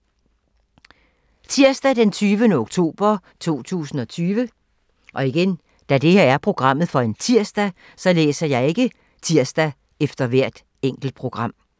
Tirsdag d. 20. oktober 2020